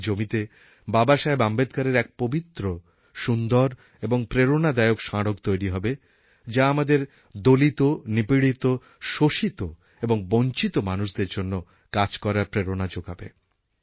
এখন ওই জমিতে বাবাসাহেব আম্বেদকরের এক পবিত্র সুন্দর এবং প্রেরণাদায়ক স্মারক তৈরি হবে যা আমাদের দলিত নিপীড়িত শোষিত এবং বঞ্চিত মানুষদের জন্য কাজ করার প্রেরণা জোগাবে